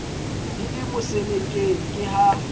di le mosenekeng ke ha